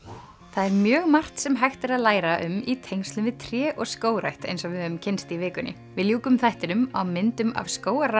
það er mjög margt sem hægt er að læra um í tengslum við tré og skógrækt eins og við höfum kynnst í vikunni við ljúkum þættinum á myndum af